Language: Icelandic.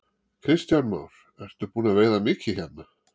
Kristján Már: Ertu búinn að veiða mikið hérna?